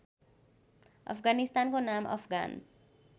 अफगानिस्तानको नाम अफगान